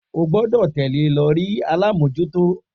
O gbọ́dọ̀ tẹ̀lẹ́ lọ ri alámòjútó